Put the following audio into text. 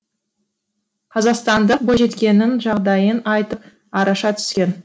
қазақстандық бойжеткеннің жағдайын айтып араша түскен